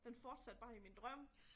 Den fortsatte bare i min drøm